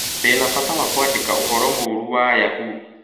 Ndĩ na bata wa kwandĩka ũhoro mũũru wa Yahoo